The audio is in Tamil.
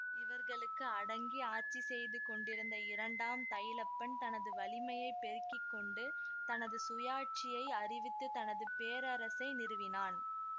இவர்களுக்கு அடங்கி ஆட்சிசெய்து கொண்டிருந்த இரண்டாம் தைலப்பன் தனது வலிமையை பெருக்கிக்கொண்டு தனது சுயாட்சியை அறிவித்து தனது பேரரசை நிறுவினான்